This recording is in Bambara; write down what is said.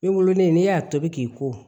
N wololen n'i y'a tobi k'i ko